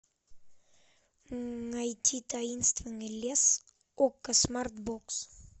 найти таинственный лес окко смарт бокс